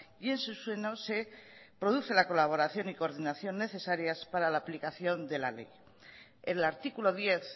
y en su seno se produce la colaboración y coordinación necesarias para la aplicación de la ley el artículo diez